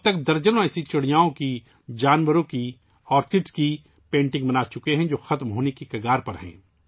اب تک ، وہ ایسے درجنوں پرندوں، جانوروں، باغوں کی پینٹنگز بنا چکے ہیں، جو معدوم ہونے کے دہانے پر ہیں